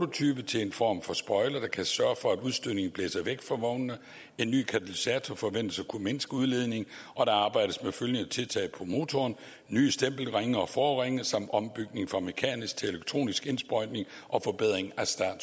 prototype til en form for spoiler der kan sørge for at udstødningen blæser væk fra vognene en ny katalysator forventes at kunne mindske udledningen og der arbejdes med følgende tiltag på motoren nye stempelringe og forringe ombygning fra mekanisk til elektronisk indsprøjtning forbedring af start og